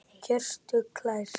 Hjörtur hlær.